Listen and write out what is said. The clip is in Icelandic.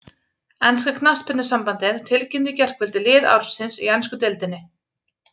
Enska knattspyrnusambandið tilkynnti í gærkvöld lið ársins í ensku deildinni.